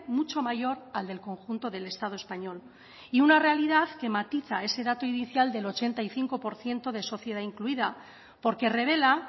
mucho mayor al del conjunto del estado español y una realidad que matiza ese dato inicial del ochenta y cinco por ciento de sociedad incluida porque revela